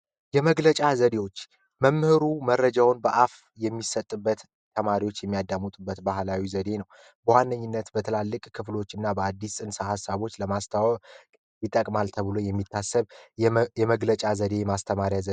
የመግለጫ ዘዴዎች መምህሩ መረጃውን በአፍ መግለጫ የሚሰጥበት ተማሪዎች የሚያዳምጡበት ባህላዊ ዘዴ ነው። በዋነኛነት በትላልቅ ክፍሎችና በአዳዲስ ጽንሰ ሀሳቦች ለማስታወቅ ይጠቅማል ተብሎ የሚታሰብ የመግለጫ ዘዴ የማስተማሪያ ዘዴ ነው።